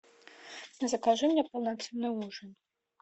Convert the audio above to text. закажи мне полноценный ужин